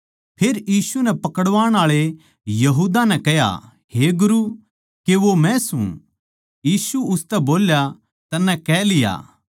फेर यीशु कै पकड़वाण आळे यहूदा नै कह्या हे गुरु के वो मै सूं यीशु उसतै बोल्या तन्नै कह लिया